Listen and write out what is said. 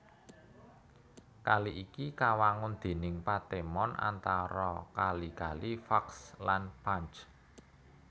Kali iki kawangun déning patemon antara kali kali Vakhsh lan Panj